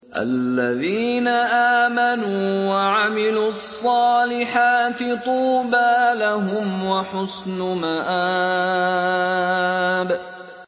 الَّذِينَ آمَنُوا وَعَمِلُوا الصَّالِحَاتِ طُوبَىٰ لَهُمْ وَحُسْنُ مَآبٍ